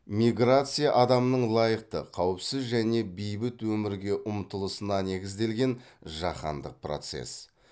миграция адамның лайықты қауіпсіз және бейбіт өмірге ұмтылысына негізделген жаһандық процесс